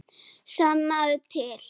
Sannaðu til.